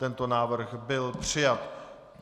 Tento návrh byl přijat.